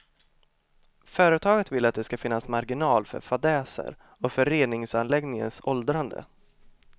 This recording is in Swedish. Företaget vill att det ska finnas marginal för fadäser och för reningsanläggningens åldrande.